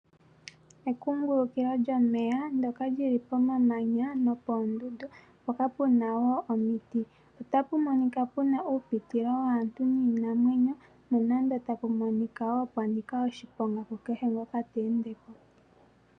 Ekungulukilo lyomeya ndyoka li li pomamanya nopoondundu mpoka pu na wo omiti. Ota pu monika pu na uupitilo waantu niinamwenyo nonando tapu monika wo pwa nika oshiponga kukehe ngoka te ende po.